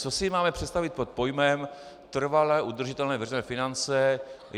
Co si máme představit pod pojmem trvale udržitelné veřejné finance?